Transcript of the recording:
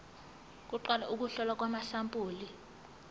kuqala ukuhlolwa kwamasampuli